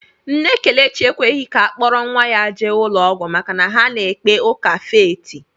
Nne Kelechi ekweghị ka a kpọrọ nnwa ya jee ụlọọgwụ maka na ha na-ekpe ụka fééti